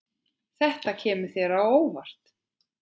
Þetta kemur þér á óvart.